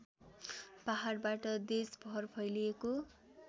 पहाडबाट देशभर फैलिएको